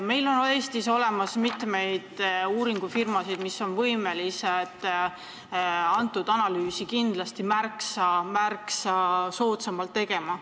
Meil on Eestis olemas mitmeid uuringufirmasid, kes oleks võimelised seda analüüsi kindlasti märksa soodsamalt tegema.